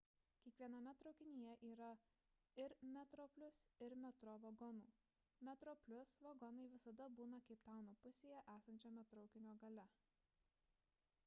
kiekviename traukinyje yra ir metroplus ir metro vagonų metroplus vagonai visada būna keiptauno pusėje esančiame traukinio gale